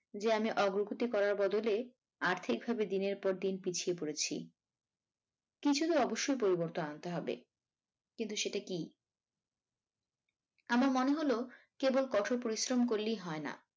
যে আমি অগ্রগতি করার বদলে আর্থিক ভাবে দিনের পর দিন পিছিয়ে পড়েছি কিছুতো অবশ্যই পরিবর্তন আনতে হবে কিন্তু সেটা কী? আমার মনে হল কেবল কঠোর পরিশ্রম করলেই হয় না